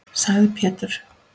sagði Pétur.